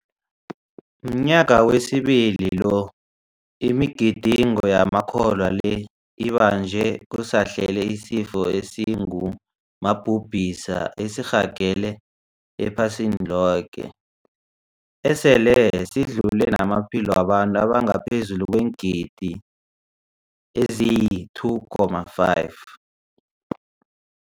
Mnyaka wesibili lo imigidingo yamakholwa le ibanjwa kusahlele isifo esingu mabhubhisa esirhagele ephasini loke, esele sidlule namaphilo wabantu abangaphezulu kweengidi eziyi-2.5.